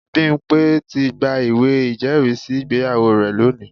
Bimpe ti gba ìwé ìjẹ́rìísí ìgbéyàwó rẹ̀ lónìí